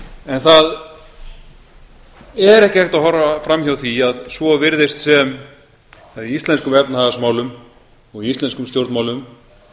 en það er ekki hægt að horfa fram hjá því að svo virðist sem að í íslenskum efnahagsmálum og í íslenskum stjórnmálum